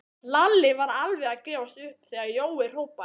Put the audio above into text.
Lalli var alveg að gefast upp þegar Jói hrópaði